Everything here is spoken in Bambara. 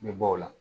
N bɛ bɔ o la